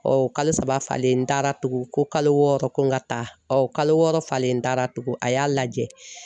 kalo saba falen n taara tugun ko kalo wɔɔrɔ ko n ka taa, kalo wɔɔrɔ falen n taara tugu a y'a lajɛ